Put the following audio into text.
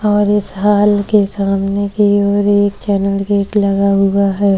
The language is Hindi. और इस हॉल के सामने की और एक चैनल गेट लगा हुआ है।